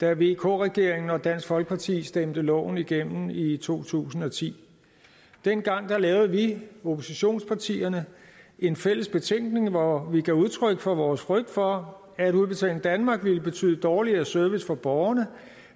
da vk regeringen og dansk folkeparti stemte loven igennem i i to tusind og ti dengang lavede vi oppositionspartierne en fælles betænkning hvor vi gav udtryk for vores frygt for at udbetaling danmark ville betyde dårligere service for borgerne